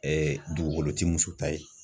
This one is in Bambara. dugukolo ti muso ta ye.